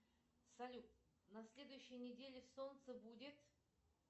салют на следующей неделе солнце будет